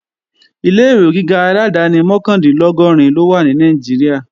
Ilé-ìwé gíga aládáni mọ́kàndínlọ́gọ́rin ló wà ní Nàìjíríà